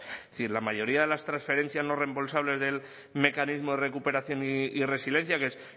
es decir la mayoría de las transferencias no reembolsables del mecanismo de recuperación y resiliencia que es